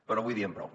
però avui diem prou